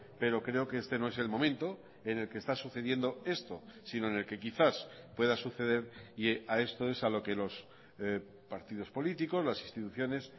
pero creo que este no es el momento en el que está sucediendo esto sino en el que quizás pueda suceder y a esto es a lo que los partidos políticos las instituciones